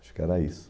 Acho que era isso.